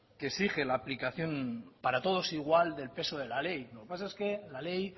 que exige la aplicación para todos igual del peso de la ley lo que pasa es que la ley